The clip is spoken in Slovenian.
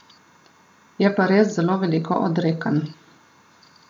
Je pa res zelo veliko odrekanj.